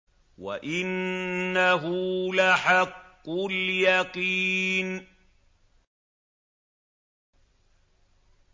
وَإِنَّهُ لَحَقُّ الْيَقِينِ